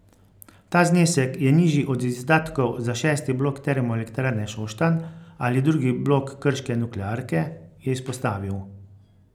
Ta znesek je nižji od izdatkov za šesti blok Termoelektrarne Šoštanj ali drugi blok krške nuklearke, je izpostavil.